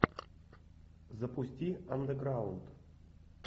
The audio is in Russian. запусти андеграунд